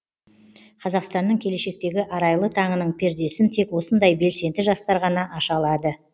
қазақстанның келешектегі арайлы таңының пердесін тек осындай белсенді жастар ғана аша алады